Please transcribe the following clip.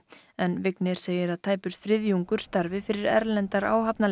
en Vignir segir að tæpur þriðjungur starfi fyrir erlendar